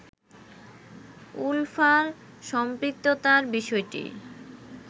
উলফার সম্পৃক্ততার বিষয়টি